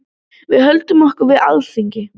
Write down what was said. Við höldum okkur við Alþingi.